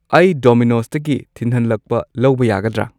ꯑꯩ ꯗꯣꯃꯤꯅꯣꯁꯇꯒꯤ ꯊꯤꯟꯍꯟꯂꯛꯄ ꯂꯧꯕ ꯌꯥꯒꯗ꯭ꯔ